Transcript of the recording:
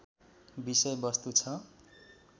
विषय वस्तु छ